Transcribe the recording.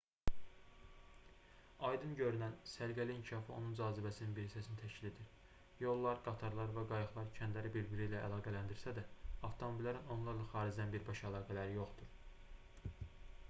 aydın görünən səliqəli inkişafı onun cazibəsinin bir hissəsini təşkil edir yollar qatarlar və qayıqlar kəndləri bir-birləri ilə əlaqələndirsə də avtomobillərin onlarla xaricdən birbaşa əlaqələri yoxdur